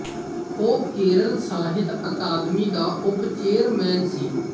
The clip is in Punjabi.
ਉਹ ਕੇਰਲ ਸਾਹਿਤ ਅਕਾਦਮੀ ਦਾ ਉਪ ਚੇਅਰਮੈਨ ਸੀ